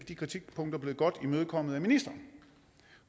de kritikpunkter blevet godt imødekommet af ministeren